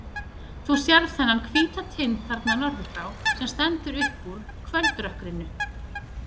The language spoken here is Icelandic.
Þú sérð þennan hvíta tind þarna norður frá, sem stendur upp úr kvöldrökkrinu.